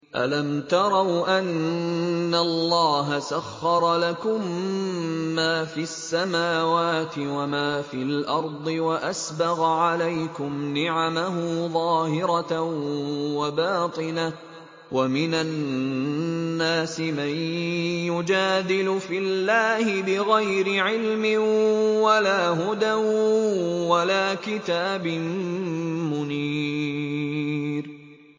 أَلَمْ تَرَوْا أَنَّ اللَّهَ سَخَّرَ لَكُم مَّا فِي السَّمَاوَاتِ وَمَا فِي الْأَرْضِ وَأَسْبَغَ عَلَيْكُمْ نِعَمَهُ ظَاهِرَةً وَبَاطِنَةً ۗ وَمِنَ النَّاسِ مَن يُجَادِلُ فِي اللَّهِ بِغَيْرِ عِلْمٍ وَلَا هُدًى وَلَا كِتَابٍ مُّنِيرٍ